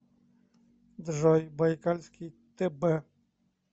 джой байкальский тб